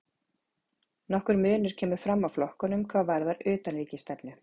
Nokkur munur kemur fram á flokkunum hvað varðar utanríkisstefnu.